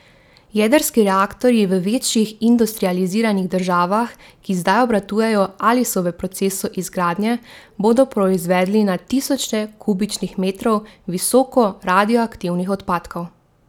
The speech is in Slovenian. Jedrski reaktorji v večjih industrializiranih državah, ki zdaj obratujejo ali so v procesu izgradnje, bodo proizvedli na tisoče kubičnih metrov visoko radioaktivnih odpadkov.